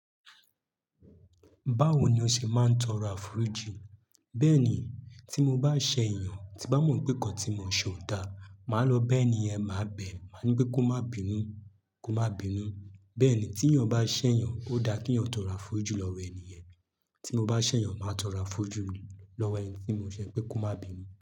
Báwo ni o ṣe máa ń tọrọ àforiji? Bẹ́ẹ̀ ni, tí mo bá ṣẹ̀ eyàn tí n bá mọ̀ pé nǹkan tí mo ṣe ò da, màá lọ bá ènìyàn máa bẹ̀, màá ní pé kó má bínú, kó má bínú. Bẹ́ẹ̀ ni, tí yàn bá ṣẹ̀yàn, ó da kí ìyàn tọrọ àforiji lọ́wọ́ ènìyẹn. Tí mo bá ṣẹ̀yàn, màá tọrọ aforiji lọ́wọ́ ẹni tí mo ṣẹ̀, pé kó má bínú.